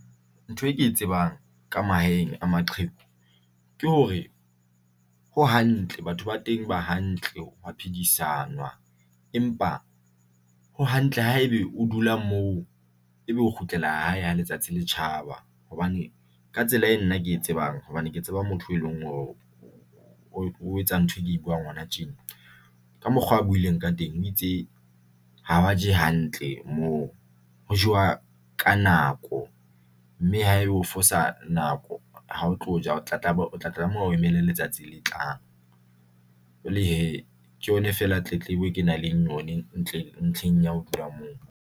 Ntho e ke e tsebang ka mahaeng a maqheku ke hore ho hantle batho ba teng ba hantle ho ya phedisanwa, empa ho hantle haebe o dula mo ebe o kgutlela hae ha letsatsi le tjhaba hobane ka tsela e nna ke e tsebang hobane ke tseba motho e leng hore o etsa ntho e ke e buang hona tjena, ka mokgwa a buileng ka teng. O itse ha ba je hantle moo ho jewa ka nako mme haeba o fosa nako, ha o tlo ja, o tla tlameha ho emela letsatsi le tlang. Jwale he, ke yona fela tletlebo e kenang le yone ntle ntlheng ya ho dula moo.